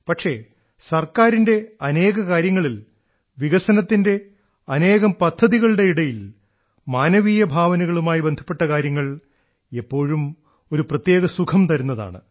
പക്ഷേ സർക്കാരിന്റെ അനേക കാര്യങ്ങളിൽ വികസനത്തിന്റെ അനേകം പദ്ധതികളുടെ ഇടയിൽ മാനവീയ ഭാവനകളുമായി ബന്ധപ്പെട്ട കാര്യങ്ങൾ എപ്പോഴും ഒരു പ്രത്യേക സുഖം തരുന്നതാണ്